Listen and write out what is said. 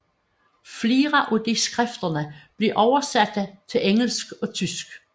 Flere af disse skrifter blev oversatte til engelsk og tysk